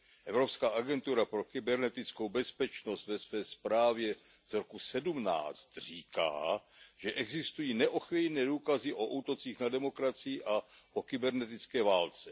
Evropská agentura pro kybernetickou bezpečnost ve své zprávě z roku 2017 říká, že existují neochvějné důkazy o útocích na demokracii a o kybernetické válce.